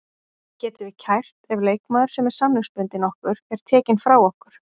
Getum við kært ef leikmaður sem er samningsbundinn okkur er tekinn frá okkur?